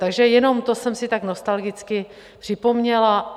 Takže jenom to jsem si tak nostalgicky připomněla.